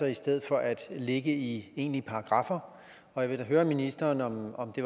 i stedet for at ligge i egentlige paragraffer og jeg vil da høre ministeren om det